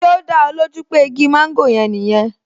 Ṣé ó dá ẹ lójú pé igi mọ́ńgòrò yẹn nìyẹn